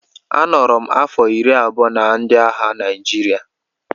A nọrọ m afọ iri abụọ na ndị agha Naịjirịa